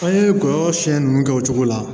An ye kɔlɔn sen nunnu kɛ o cogo la